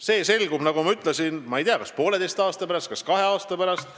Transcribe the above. See selgub, nagu ma ütlesin, kas poolteise või kahe aasta pärast.